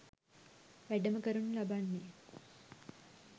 වැඩම කරනු ලබන්නේ